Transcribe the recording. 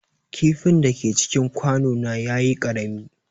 Kifin da ke cikin kwano na ya yi ƙarami.